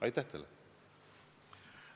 Aitäh teile!